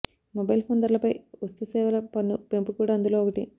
mobile phone ధరలపై వస్తు సేవల పన్ను పెంపు కూడా అందులో ఒకటి